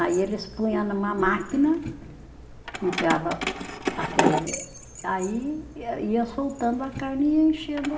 Aí eles punha numa máquina, enfiava aquele, aí ia ia soltando a carne e ia enchendo.